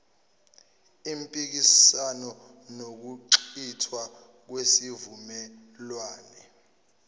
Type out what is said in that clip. impikiswano nokuchithwa kwesivumelwane